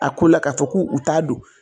A ko la, k'a fɔ k'u ta don